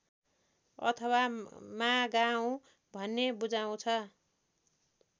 अथवा मागाउँ भन्ने बुझाउँछ